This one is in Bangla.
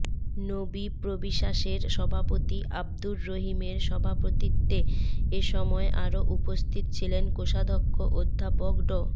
নোবিপ্রবিসাসের সভাপতি আব্দুর রহিমের সভাপতিত্বে এসময় আরও উপস্থিত ছিলেন কোষাধ্যক্ষ অধ্যাপক ড